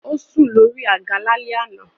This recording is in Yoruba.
Ó sùn lórí àga lálẹ́ àná.